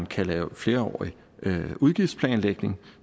kan laves flerårig udgiftsplanlægning